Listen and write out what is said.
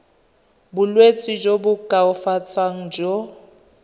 bolwetsi jo bo koafatsang jo